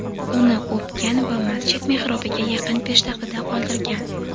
uni o‘pgan va masjid mehrobiga yaqin peshtaxtada qoldirgan.